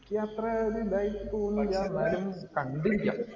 എനിക്ക് അത്ര ഇതായി തോന്നിയില്ല. എന്നാലും കണ്ടിരിക്കാം.